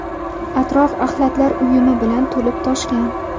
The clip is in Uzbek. Atrof axlatlar uyumi bilan to‘lib-toshgan.